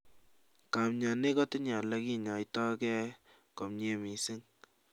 Kamnyanik kotinye olekinyaitake komnyie missing